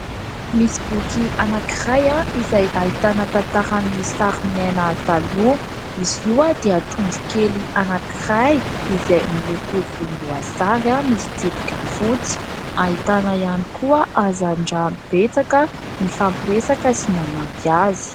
Misy boky anankiray izay ahitana tantaran'ny sary miaina taloha. Izy io dia trondro kely anankiray izay miloko volomboasary misy tsipika fotsy, ahitana ihany koa hazandrano betsaka mifampiresaka sy nanampy azy.